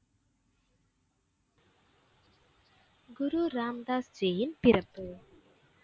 குரு ராம் தாஸ் ஜியின் பிறப்பு.